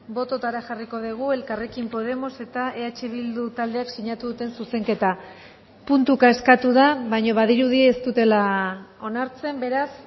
bototara jarriko dugu elkarrekin podemos eta eh bildu taldeek sinatu duten zuzenketa puntuka eskatu da baina badirudi ez dutela onartzen beraz